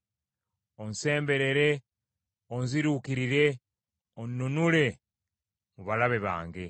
Onsemberere onziruukirire, onnunule mu balabe bange.